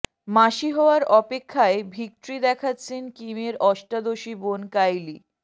মাসি হওয়ার অপেক্ষায় ভিকট্রি দেখাচ্ছেন কিমের অষ্টাদশী বোন কাইলি